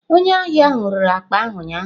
Onye ahịa ahụ rere akpa ahụ ụnyaahụ.